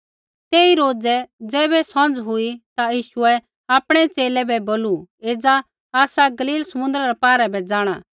तेई रोज़ै ज़ैबै सौंझ़ हुई ता यीशुऐ आपणै च़ेले बै बोलू एज़ा आसा गलीली समुन्द्रा रै पौरै बै जाँणा